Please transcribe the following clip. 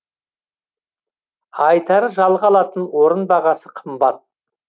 айтары жалға алатын орын бағасы қымбат